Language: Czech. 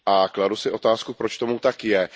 Kladu si otázku, proč tomu tak je?